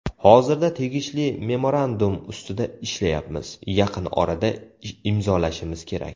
Hozirda tegishli memorandum ustida ishlayapmiz, yaqin orada imzolashimiz kerak.